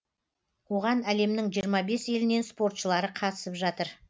оған әлемнің жиырма бес елінен спортшылары қатысып жатыр